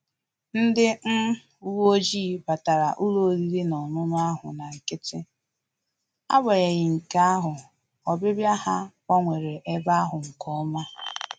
Ndị um uwe ojii batara ụlọ oriri na ọṅụṅụ ahụ na nkịtị, agbanyeghi nke ahụ, obibia ha gbanwere ebe ahụ nke ọma